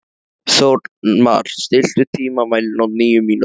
Þórmar, stilltu tímamælinn á níu mínútur.